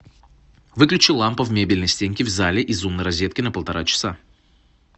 выключи лампа в мебельной стенке в зале из умной розетки на полтора часа